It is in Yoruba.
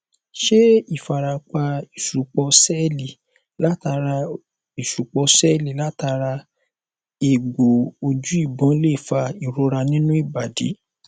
ṣé ifarapa isupo seeli latara isupo seeli latara egbo oju ìbọn lè fa ìrora nínú ibadi